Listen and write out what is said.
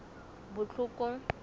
botlhokong